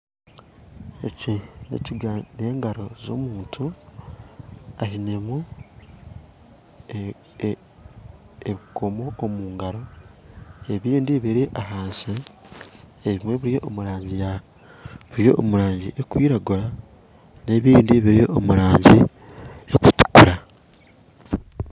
Eki n'ekiganza ky'omuntu ainemu ebikoomo, ebindi biri ahansi, ebimwe biri omurangi erikwiragura n'ebindi biri omurangi erikutuukura